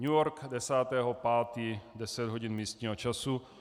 New York, 10. 5., deset hodin místního času.